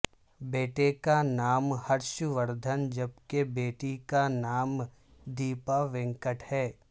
بیٹے کا نام ہرش وردھن جبکہ بیٹی کا نام دیپا وینکٹ ہے